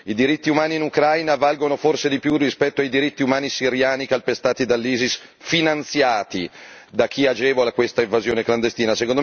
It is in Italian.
I diritti umani in Ucraina valgono forse di più rispetto ai diritti umani siriani calpestati dall'ISIS, finanziati da chi agevola questa invasione clandestina?